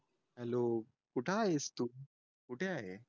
hello कुठं आहेस तू कुठं आहे